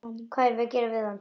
Og gera hvað við hann?